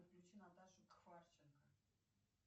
включи наташу кварченко